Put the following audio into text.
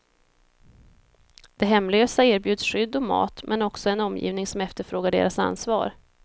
De hemlösa erbjuds skydd och mat, men också en omgivning som efterfrågar deras ansvar.